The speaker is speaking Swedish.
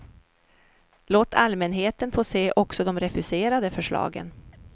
Låt allmänheten få se också de refuserade förslagen.